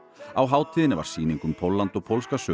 á hátíðinni var sýning um Pólland og pólska sögu